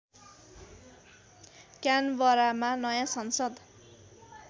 क्यानबरामा नयाँ संसद